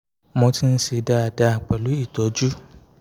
mo ti ń ṣe dáadáa pẹ̀lú ìtọ́jú